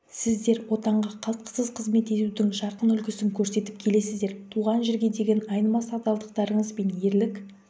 сіздер отанға қалтқысыз қызмет етудің жарқын үлгісін көрсетіп келесіздер туған жерге деген айнымас адалдықтарыңыз бен ерлік